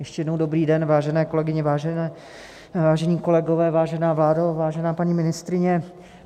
Ještě jednou dobrý den, vážené kolegyně, vážení kolegové, vážená vládo, vážená paní ministryně.